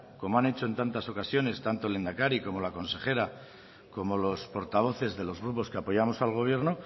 como han hecho en tantas ocasiones tanto el lehendakari como la consejera como los portavoces de los grupos que apoyamos al gobierno